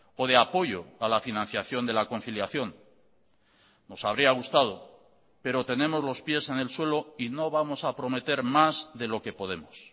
o de apoyo a la financiación de la conciliación nos habría gustado pero tenemos los pies en el suelo y no vamos a prometer más de lo que podemos